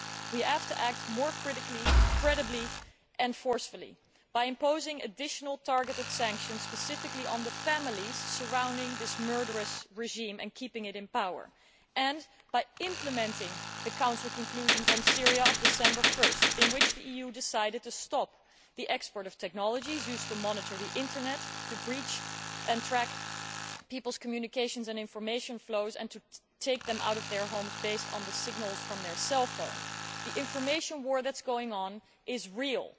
We have to act more credibly and forcefully by imposing additional targeted sanctions, specifically on the families supporting this murderous regime and keeping it in power, and by implementing the Council conclusions on Syria of 1 December in which the EU decided to stop the export of technologies used to monitor the Internet, to breach and track people's communications and information flows and to take them out of their homes based on the signals from their cell phone. The information war that is going on is real.